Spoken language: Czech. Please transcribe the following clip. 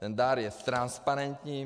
Ten dar je transparentní.